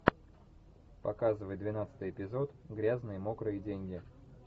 показывай двенадцатый эпизод грязные мокрые деньги